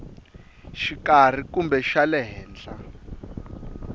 xikarhi kumbe xa le henhla